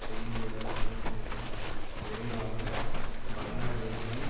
செய்தி ஊடகத்துடன் சேர்ந்து விரைவாக பங்களாதேஷை